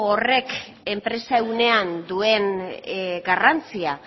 horrek enpresa ehunean duen garrantzia